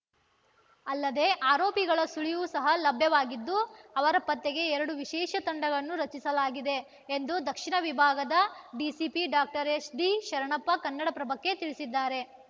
ಅಲ್ಲದೆ ಆರೋಪಿಗಳ ಸುಳಿವು ಸಹ ಲಭ್ಯವಾಗಿದ್ದು ಅವರ ಪತ್ತೆಗೆ ಎರಡು ವಿಶೇಷ ತಂಡಗಳನ್ನು ರಚಿಸಲಾಗಿದೆ ಎಂದು ದಕ್ಷಿಣ ವಿಭಾಗದ ಡಿಸಿಪಿ ಡಾಕ್ಟರ್ ಎಸ್‌ಡಿಶರಣಪ್ಪ ಕನ್ನಡಪ್ರಭಕ್ಕೆ ತಿಳಿಸಿದ್ದಾರೆ